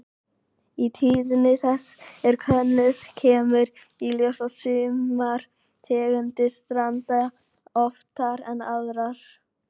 Ef tíðni þess er könnuð kemur í ljós að sumar tegundir stranda oftar en aðrar.